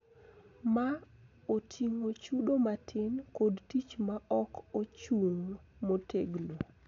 Ma oting�o chudo matin kod tich ma ok ochung� motegno.